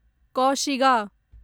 कौशिगा